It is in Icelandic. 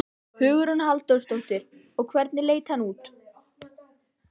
Hugrún Halldórsdóttir: Og hvernig leit hann út?